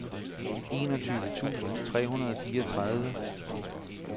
enogtyve tusind tre hundrede og fireogtredive